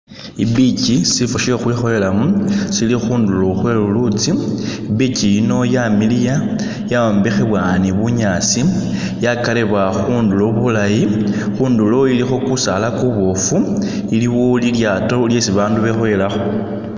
I'beach silisifo she'khukhwikhoyelamo sili khundulo khwe lulutsi i'beach yino yamiliya yayombekhebwa ni bunyaasi yakaribwa khundulo bulaayi, khundulo ilikho kusaala kubofu, iliwo lilyaato lyesi bandu bekhoyelakho.